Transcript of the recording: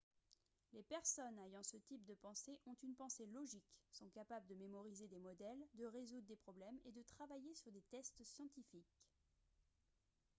les personnes ayant ce type de pensées ont une pensée logique sont capables de mémoriser des modèles de résoudre des problèmes et de travailler sur des tests scientifiques